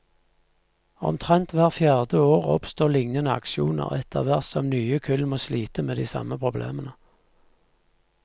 Omtrent hvert fjerde år oppstår lignende aksjoner, etterhvert som nye kull må slite med de samme problemene.